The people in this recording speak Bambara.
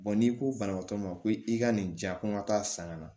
n'i ko banabaatɔ ma ko i ka nin diya ko n ka taa san ka na